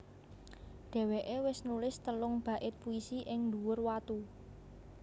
Dheweké wis nulis telung bait puisi ing dhuwur watu